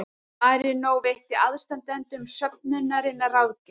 Marínó veitti aðstandendum söfnunarinnar ráðgjöf